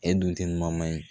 E dun tɛ man ɲi